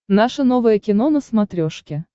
наше новое кино на смотрешке